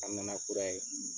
A nana kura ye .